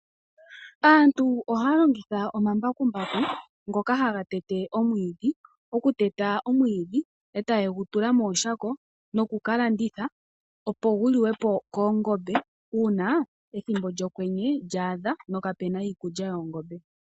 Aantu ohaya longitha omambakumbaku ngoka haga tete omwiidhi. Okuteta omwiidhi e taye gu tula mooshako, noku ka landitha, opo gu liwe po koongombe ethimbo lyokwenye lyaadha no kape na iikulya yoongombe.